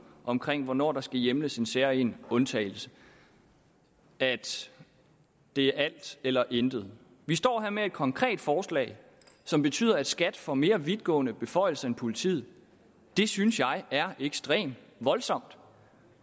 om hvornår der skal hjemles en særlig undtagelse at det er alt eller intet vi står her med et konkret forslag som betyder at skat får mere vidtgående beføjelser end politiet det synes jeg er ekstremt voldsomt